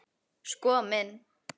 Sko minn.